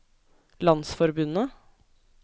landsforbundet